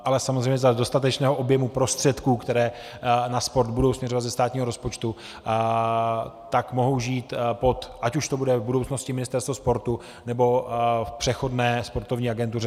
Ale samozřejmě za dostatečného objemu prostředků, které na sport budou směřovat ze státního rozpočtu, tak mohou žít pod - ať už to bude v budoucnosti Ministerstvo sportu, nebo v přechodné sportovní agentuře.